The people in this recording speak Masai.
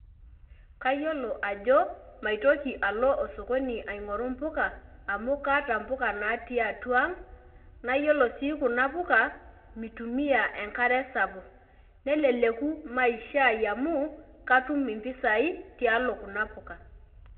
Kayiolo ajo, maitoki alo osokoni aing'oru mpuka, amu kaata mpuka natii atua ang, na yiolo si kuna puka, mitumia enkare sapuk. Nelelek maisha ai amuu, katum impisai tialo kuna puka.